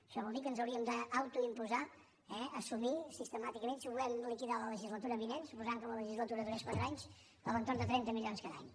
això vol dir que ens hauríem d’autoimposar assumir sistemàticament si ho volem liquidar la legislatura vinent suposant que la legisla·tura durés quatre anys a l’entorn de trenta milions cada any